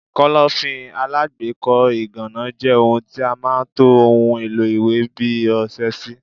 Kọ́lọ́fín alágbèékọ́ ìgànná jẹ́ ohun tí a máa ń to ohun èlò iwe bi ọsẹ sí.